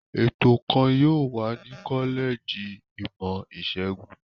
Ètò kan yóò wà ní kọ́lẹ́jì ìmọ̀-ìṣègùn.